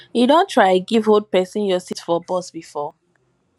you don try give old pesin your seat for bus before